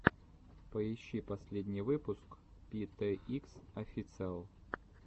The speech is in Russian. поищи последний выпуск пэ тэ икс официал